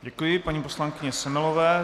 Děkuji paní poslankyni Semelové.